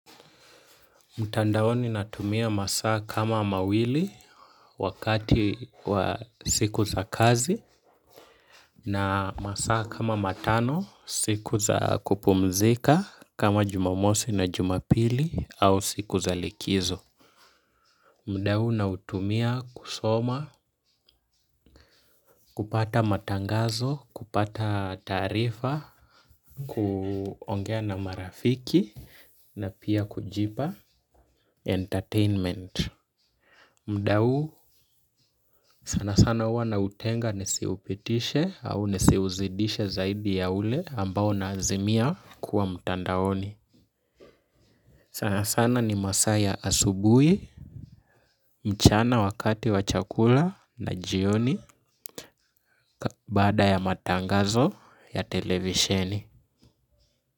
Mtandaoni natumia masaa kama mawili wakati wa siku za kazi na masaa kama matano siku za kupumzika kama Jumamosi na Jumapili au siku za likizo. Muda huu nautumia kusoma, kupata matangazo, kupata taarifa, kuongea na marafiki na pia kujipa entertainment. Muda huu sana sana huwa nautenga nisiupitishe au nisiuzidishe zaidi ya ule ambao naazimia kuwa mtandaoni. Sana sana ni masaa asubuhi, mchana wakati wa chakula na jioni baada ya matangazo ya televisheni.